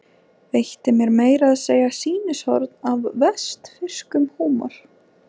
Veitti mér meira að segja sýnishorn af vestfirskum húmor.